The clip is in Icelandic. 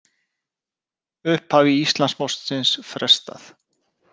Upphafi Íslandsmótsins frestað